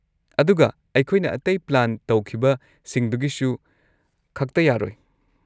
ꯑꯗꯨꯒ ꯑꯩꯈꯣꯏꯅ ꯑꯇꯩ ꯄ꯭ꯂꯥꯟ ꯇꯧꯈꯤꯕꯁꯤꯡꯗꯨꯒꯤꯁꯨ ꯈꯛꯇ ꯌꯥꯔꯣꯏ꯫